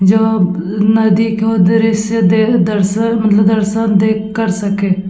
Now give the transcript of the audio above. जो नदी को दृश्य देख दर्शन मतलब दर्शन देख कर सके --